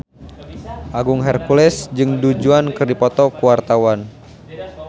Agung Hercules jeung Du Juan keur dipoto ku wartawan